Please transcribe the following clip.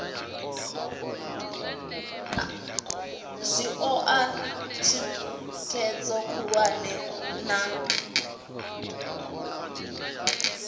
zwi oa thikhedzo khulwane na